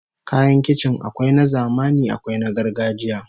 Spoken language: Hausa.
Kayan kicin akwai na zamani akwai na gargajiya